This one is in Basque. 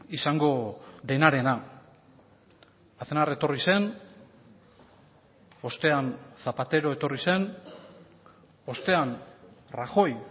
izango denarena aznar etorri zen ostean zapatero etorri zen ostean rajoy